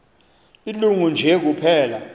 ilungu nje kuphela